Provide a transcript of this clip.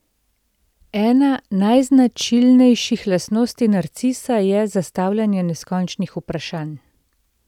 Ena najznačilnejših lastnosti narcisa je zastavljanje neskončnih vprašanj.